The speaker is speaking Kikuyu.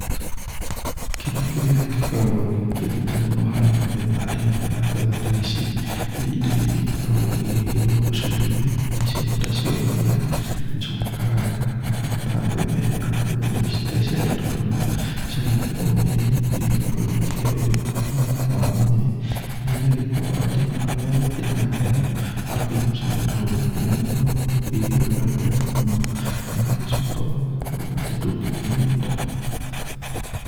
Kĩndũ kĩrĩa gĩkoragwo ndĩkĩendete mũno harĩ mĩthemba ĩno ya mbegu ta ici nĩ indo iria ikoragwo igĩgĩkĩrwo ũcũrũ-inĩ. Na cio nĩ tacio mũhĩa, njũgũ karanga na kana ta mbembe, nĩ gũkorwo indo ici rirĩa cia gĩtukanio cigagĩkĩrwo mũhĩa-inĩ nĩ ikoragwo igĩkĩhe ũgima mwega mũno wa mwĩrĩ. Na igagĩkorwo atĩ ona rĩrĩa gũkĩrĩ na heho, wakĩnyua ũcũrũ ta ũyũ, nĩ ũgĩkoragwo ũkĩigua ũrugarĩ wega mũno na ũgagĩcoka ũgagĩkorwo atĩ ndũngĩkĩnyota.